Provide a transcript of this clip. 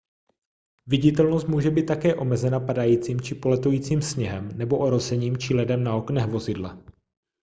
viditelnost může být také omezena padajícím či poletujícím sněhem nebo orosením či ledem na oknech vozidla